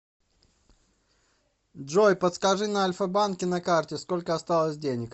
джой подскажи на альфа банке на карте сколько осталось денег